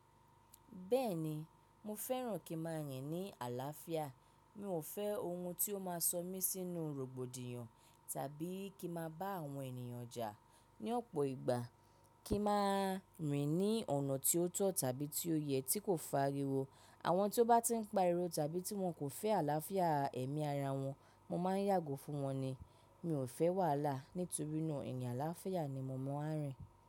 Bẹ́ẹ̀ni, mo fẹ́ràn kí n má a rìn ní àlàáfíà. Mi ò fẹ́ ohun tí ó má a sọ mí sínú rògbòdìyàn tàbí kí ma bá àwọn ènìyàn jà. Ni ọ̀pọ̀ ìgbà kí ma rìn ní ọ̀nà tí ó tọ̀ tàbí tí ó yẹ tí kò fariwo. Àwọn tí ó bá ti n pa'rọ̀ tàbí tí wọn kò fẹ́ àlàáfíà ẹ̀mí ara wọn, mo má a yàgò fún wọn ni. Mi ò fẹ́ wàhálà nítorí náà ènìyàn àlàáfíà ni mò mọ á rìn.